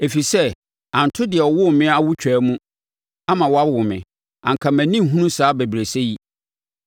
ɛfiri sɛ anto deɛ ɔwoo me awotwaa mu ama wawo me, anka mʼani nhunu saa abɛbrɛsɛ yi.